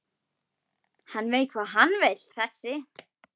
Hann veit hvað hann vill þessi!